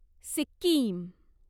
Sikkim